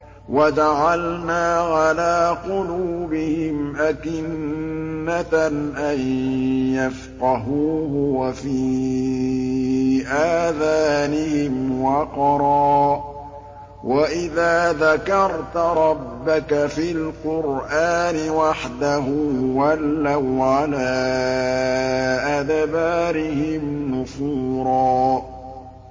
وَجَعَلْنَا عَلَىٰ قُلُوبِهِمْ أَكِنَّةً أَن يَفْقَهُوهُ وَفِي آذَانِهِمْ وَقْرًا ۚ وَإِذَا ذَكَرْتَ رَبَّكَ فِي الْقُرْآنِ وَحْدَهُ وَلَّوْا عَلَىٰ أَدْبَارِهِمْ نُفُورًا